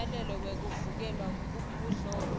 semyalelo wekuvikeleka kubudlova